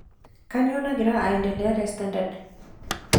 kanyoo nagira aendelea te standard